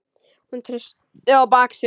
Hún treysti á bak sitt.